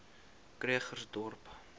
krugersdorp